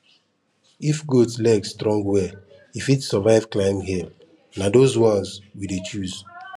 if goat leg strong well e fit survive climb hill na those ones we dey choose